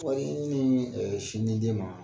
Ko ni minnu mi ɛɛ sin di den ma